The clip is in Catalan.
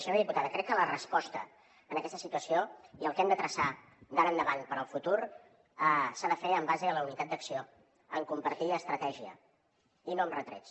senyora diputada crec que la resposta en aquesta situació i el que hem de traçar d’ara endavant per al futur s’ha de fer en base a la unitat d’acció en compartir estratègia i no amb retrets